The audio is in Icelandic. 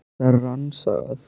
Var þetta rangstaða?